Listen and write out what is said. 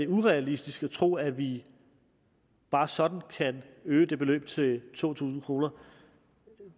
urealistisk at tro at vi bare sådan kan øge det beløb til to tusind kroner